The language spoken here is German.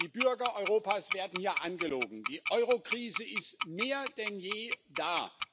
Die Bürger Europas werden hier angelogen Die Eurokrise ist mehr denn je da.